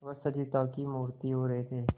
वे सजीवता की मूर्ति हो रहे थे